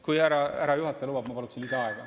Kui härra juhataja lubab, siis ma paluksin lisaaega.